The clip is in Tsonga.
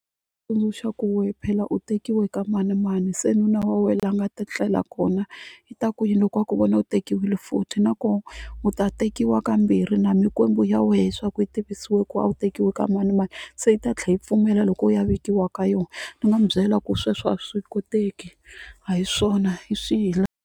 Tsundzuxa ku we phela u tekiwe ka manimani se nuna wa wena la a nga ta tlela kona i ta ku yini loko va ku vona u tekiwile futhi na koho u ta tekiwa kambirhi na mikwembu ya wehe swa ku yi tivisiwi ku a wu tekiwi ka manimani se yi ta tlhe yi pfumela loko u ya vekiwa ka yona ni nga n'wi byela ku sweswo a swi koteki a hi swona hi swi .